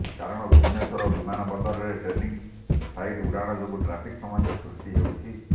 କାରଣ ଭୁବନେଶ୍ୱର ବିମାନବନ୍ଦରରେ training flight ଉଡ଼ାଣ ଯୋଗୁ ଟ୍ରାଫିକ ସମସ୍ୟା ସୃଷ୍ଟି ହେଉଛି